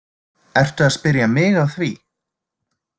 Ertu að spyrja mig að því?